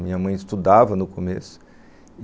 Minha mãe estudava no começo.